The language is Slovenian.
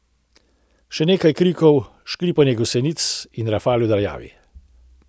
Še nekaj krikov, škripanje gosenic, rafal v daljavi.